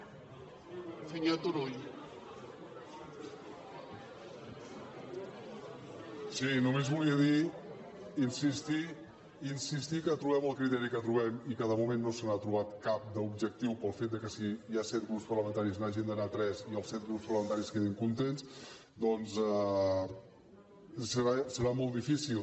sí només volia dir insistir que trobem el criteri que trobem i que de moment no se n’ha trobat cap d’objectiu pel fet que si hi ha set grups parlamentaris n’hi hagin d’anar tres i els set grups parlamentaris quedin contents doncs serà molt difícil